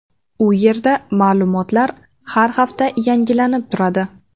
U yerda ma’lumotlar har hafta yangilanib turadi.